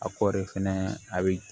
A kɔɔri fɛnɛ a bɛ